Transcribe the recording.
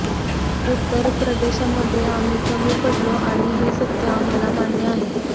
उत्तर प्रदेशमध्ये आम्ही कमी पडलो आणि हे सत्य आम्हाला मान्य आहे